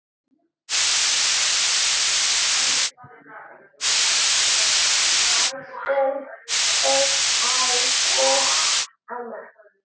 Elskum þig, elsku amma.